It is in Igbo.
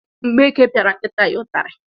Mgbeke piara nkịta ya itari